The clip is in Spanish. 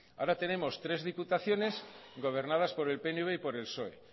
ahora tenemos tres diputaciones gobernadas por el pnv y por el psoe